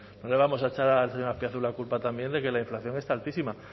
no le vamos a echar al señor azpiazu la culpa también de que la inflación esté altísima